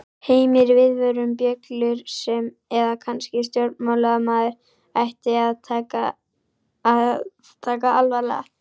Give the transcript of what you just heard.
Heimir: Viðvörunarbjöllur sem að kannski stjórnmálamaður ætti að taka alvarlega?